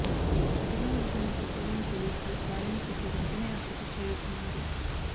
అటుగా వెళ్తున్న పెట్రోలింగ్ పోలీసులు దాడిని చూసి వెంటనే అక్కడకు చేరుకున్నారు